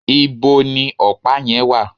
íbo ni ọ̀pá yẹn wà?